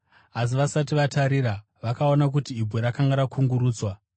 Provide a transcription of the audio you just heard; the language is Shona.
Asi vakati vatarira, vakaona kuti ibwe rakanga rakungurutswa.